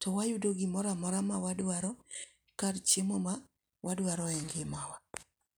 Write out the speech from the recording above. to wayudo gimoro amora ma wadwaro, kar chiemo ma wadwaro e ngima wa.